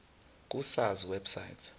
ku sars website